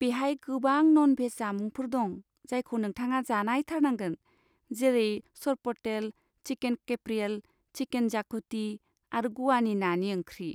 बेहाय गोबां नन भेज जामुंफोर दं जायखौ नोंथाङा जानायथारनांगोन जेरै सरपटेल, चिकेन केफ्रियेल, चिकेन जाकुटि आरो ग'वानि नानि ओंख्रि।